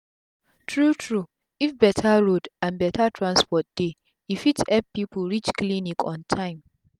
tru tru if beta road and beta transport dey e fit epp pipu reach clinic on tym